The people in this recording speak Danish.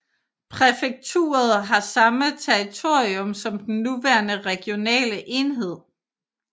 Præfekturet havde samme territorium som den nuværende regionale enhed